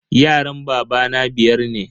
Yaran babana biyar ne.